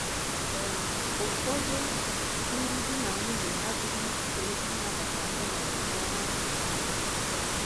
um Ụfọdụ ndị di na nwunye adịghị njikere ịnabata ọnọdụ ọhụrụ a um. um